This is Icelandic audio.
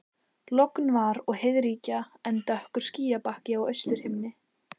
Logn var og heiðríkja en dökkur skýjabakki á austurhimni.